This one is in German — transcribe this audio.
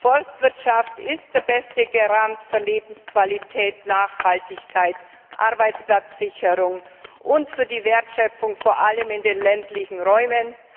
Forstwirtschaft ist der beste Garant für Lebensqualität, Nachhaltigkeit, Arbeitsplatzsicherung und für die Wertschöpfung vor allem in den ländlichen Räumen.